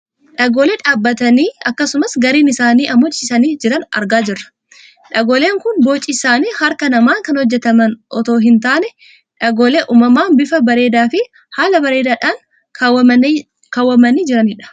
Dhagoolee dhadhaabbatanii akkasumas gariin isaanii ammoo ciciisanii jiran argaa jirran. Dhagooleen kun bocii isaanii harka namaan kan hojjataman otoo hin taane dhagoolee uummamaan bifa bareedaafi haala bareedaa dhaan kaawwamanii jirani dha.